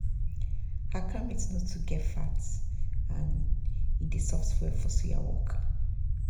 our cow meat no too get fat and e soft well for suya work.